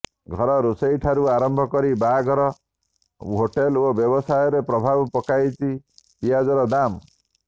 ଘର ରୋଷେଇ ଠାରୁ ଆରମ୍ଭ କରି ବାହାଘର ହୋଟେଲ ଓ ବ୍ୟବସାୟରେ ପ୍ରଭାବ ପକାଇଛି ପିଆଜର ଦାମ